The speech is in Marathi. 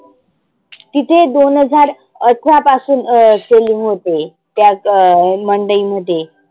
तिथे दोन हजार अठरा पासून selling होते. त्या अं मंडई मध्ये.